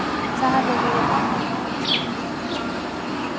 Það hefði verið gott að komast út í smástund.